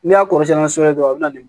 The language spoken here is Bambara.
N'i y'a kɔrɔsiɲɛ ni sɛbɛ ye dɔrɔn a bɛ na ni